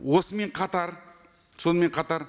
осымен қатар сонымен қатар